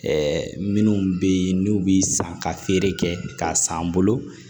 minnu bɛ yen n'u bɛ san ka feere kɛ k'a san an bolo